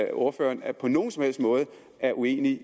at ordføreren på nogen som helst måde er uenig